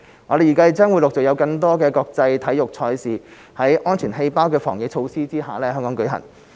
我們預計將陸續有更多國際體育賽事在"安全氣泡"的防疫措施下在香港舉行。